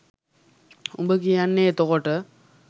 උඹ කියන්නෙ එතකොට